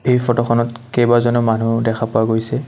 এই ফটোখনত কেইবাজনো মানুহ দেখা পোৱা গৈছে।